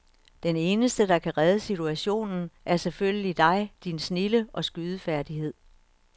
Den eneste, der kan redde situationen, er selvfølgelig dig, din snilde og skydefærdighed.